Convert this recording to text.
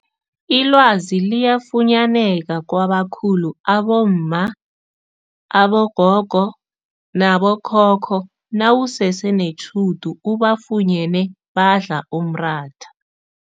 Ilwazi liyafunyaneka kwabakhulu abomma, abogogo nabokhokho nawusese netjhudu ubafunyene badla umratha.